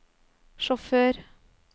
sjåfør